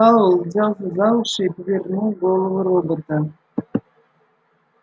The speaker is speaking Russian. пауэлл взялся за уши и повернул голову робота